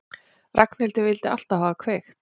Ragnhildur vildi alltaf hafa kveikt.